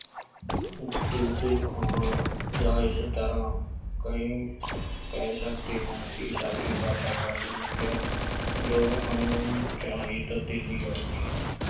ਦੂਸ਼ਿਤ ਖਾਣਾ ਜਾਂ ਇਸ ਤਰ੍ਹਾਂ ਕਈ ਕਹਿ ਸਕਦੇ ਹਾਂ ਕਿ ਸਾਡੇ ਵਾਤਾਵਰਨ ਵਿੱਚ ਜੋ ਅਣਚਾਹੀ ਤਬਦੀਲੀ ਆਉਂਦੀ ਹੈ,